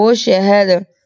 ਊ ਸ਼ੇਹਰ